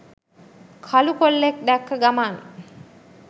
කළු කොල්ලෙක් දැක්ක ගමන්